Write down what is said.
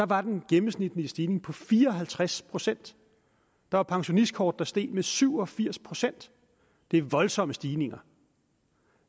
var den gennemsnitlige stigning på fire og halvtreds procent der var pensionistkort der steg med syv og firs procent det er voldsomme stigninger